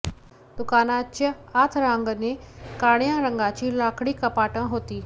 दुकानाच्या आत रांगेने काळ्या रंगाची लाकडी कपाटं होती